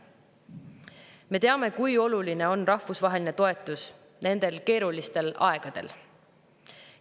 Me teame, kui oluline on rahvusvaheline toetus nendel keerulistel aegadel.